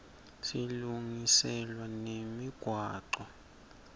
silungiselwa nemigwaco